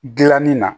Gilanni na